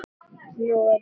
Og nú er ég hér!